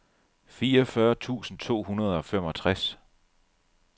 fireogfyrre tusind to hundrede og femogtres